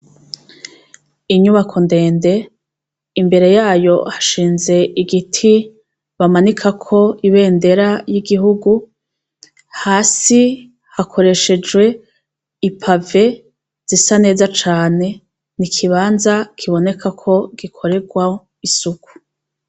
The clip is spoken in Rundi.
Inyubako ndende, imbere yayo hashinze igiti bamanikako ibendera y'igihugu, hasi hakoreshejwe ipave zisa neza cane. Ni ikibanza kiboneka ko gikoregwa isuku.